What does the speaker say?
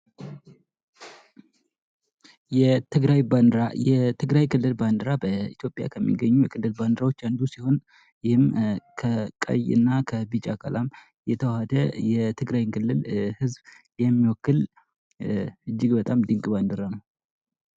የትግራይ ባንድራ ፦የትግራይ ክልል ባንድራ በኢትዮጵያ ከሚገኙ የክልል ባንድራዎች አንዱ ሲሆን ይህም ከቀይ እና ከቢጫ ቀለም የተዋሃደ የትግራይን ክልል ህዝብ የሚወክል እጅግ በጣም ድንቅ ባንዲራ ነው።